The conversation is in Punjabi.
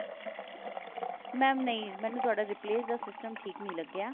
mam ਨਹੀਂ ਮੈਨੂੰ ਤੁਹਾਡਾ replace ਦਾ system ਠੀਕ ਨਹੀਂ ਲੱਗਿਆ